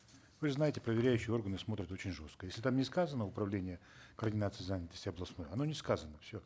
вы же знаете проверяющие органы смотрят очень жестко если там не сказано управление координации занятости областной оно не сказано все